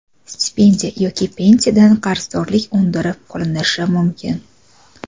stipendiya yoki pensiyadan qarzdorlik undirib qolinishi mumkin.